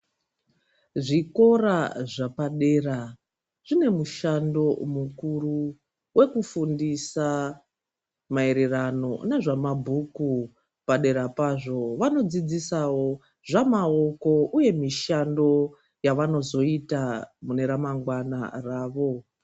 Zvikora zvapadera zvine mushando mukuru wekufundisa mayererano nezvemabhuku, padera pazvo, vanodzidzisawo zvamaoko uye mishando yavanozoita muneramangwana ravo.